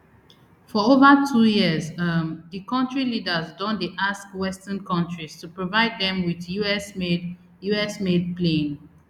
for over two years um di kontri leaders don dey ask western kontris to provide dem wit usmade usmade plane